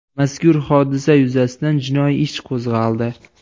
Mazkur hodisa yuzasidan jinoiy ish qo‘zg‘aldi.